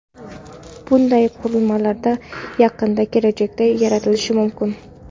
bunday qurilmalar yaqin kelajakda yaratilishi mumkin.